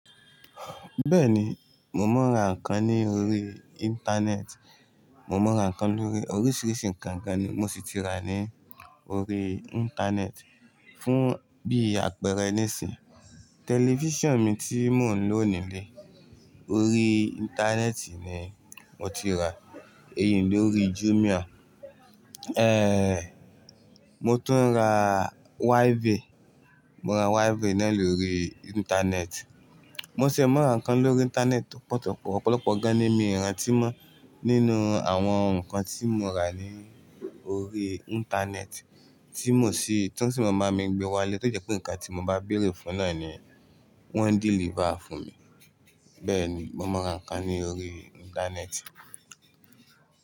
Bẹ́ẹ̀ni, mo mọ ń ra nǹkan ní orí Íńtánẹ́ẹ̀tì. Mo mọ ń ra nǹkan lórí oríṣìíríṣìí ǹkankan ni mo sì ti ra ní orí Íńtánẹ́ẹ̀tì fún bí àpẹẹrẹ nísìń. Tẹlifíṣàn mi tí mò ń lò nílé, orí Íńtánẹ́ẹ̀tì ni mo ti ràá, èyí ni lórí Jumia. Ehn, mo tún ń ra wáífì, mo ra wáífì náà lórí Íńtánẹ́ẹ̀tì. Mo sì ń mọ ń ra nǹkan lórí Íńtánẹ́ẹ̀tì tọ́pọ̀tọ́pọ̀. Ọ̀pọ̀lọpọ̀ gan ní miì rantí mọ́ nínú àwọn nǹkan tí mo rà ní orí Íńtánẹ́ẹ̀tì tí mò sí, tí wọ́n sì máa ń gbé wá lé tó jẹ́ pé nǹkan tí mo bá béèrè fún náà ni wọ́n ń dẹ́lífà fún mi. Bẹ́ẹ̀ni, mo mọ ń ra nǹkan ní orí Íńtánẹ́ẹ̀tì.